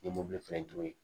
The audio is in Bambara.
N ye mobili feere